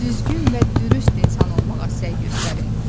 Düzgün və dürüst insan olmağa səy göstərin.